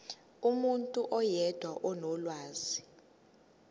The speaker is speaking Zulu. umuntu oyedwa onolwazi